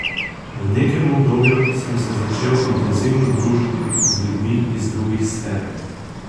V nekem obdobju sem se začel intenzivno družiti z ljudmi iz drugih sfer.